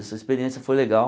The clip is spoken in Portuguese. Essa experiência foi legal.